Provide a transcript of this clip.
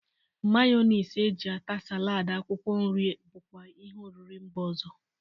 Mayọnis e ji ata salaadị akwụkwọ nri bụkwa ihe oriri mba ọzọ.